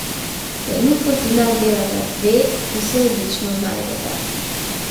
Trenutno pri nas delata dve, ki se odlično znajdeta.